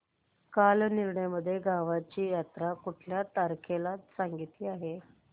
कालनिर्णय मध्ये गावाची जत्रा कुठल्या तारखेला सांगितली आहे